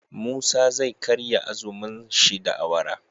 Musa zai karya azumun shi da awara